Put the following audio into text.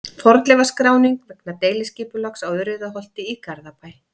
Fornleifaskráning vegna deiliskipulags á Urriðaholti í Garðabæ.